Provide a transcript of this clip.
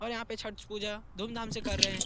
और यहाँ पे छठ पूजा धूम धाम से कर रहे हैं।